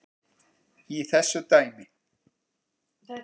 í þessu dæmi.